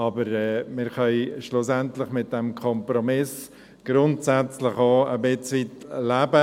Aber wir können schlussendlich mit diesem Kompromiss grundsätzlich auch ein Stück weit leben.